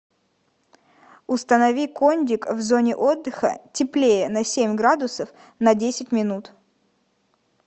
установи кондик в зоне отдыха теплее на семь градусов на десять минут